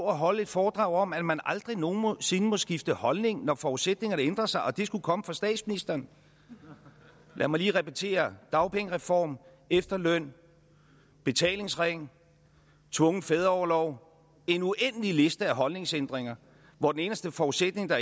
og holder et foredrag om at man aldrig nogen sinde må skifte holdning når forudsætningerne ændrer sig og det skulle komme fra statsministeren lad mig lige repetere dagpengereform efterløn betalingsring tvungen fædreorlov en uendelig liste af holdningsændringer hvor den eneste forudsætning der